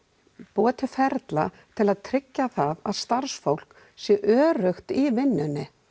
búa til ferla til að tryggja að starfsfólk sé öruggt í vinnunni